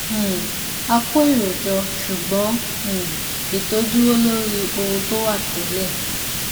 um a kó èrò jọ ṣùgbọn um ètò dúró lórí ohun tó wà télè